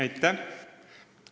Aitäh!